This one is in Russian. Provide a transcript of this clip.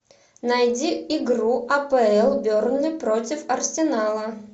найди игру апл бернли против арсенала